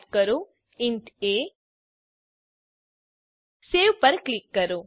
type કરો ઇન્ટ એ સવે પર ક્લિક કરો